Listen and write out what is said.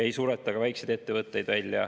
Ei sureta ka väikseid ettevõtteid välja.